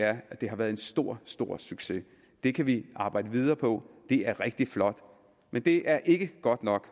er at det var en stor stor succes det kan vi arbejde videre på det er rigtig flot men det er ikke godt nok